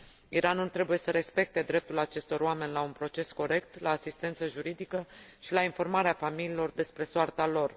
Iranul trebuie să respecte dreptul acestor oameni la un proces corect, la asistență juridică și la informarea familiilor despre soarta lor.